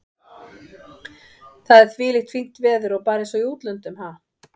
Og það er þvílíkt fínt veður og bara eins og í útlöndum, ha?